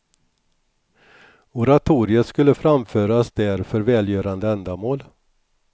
Oratoriet skulle framföras där för välgörande ändamål.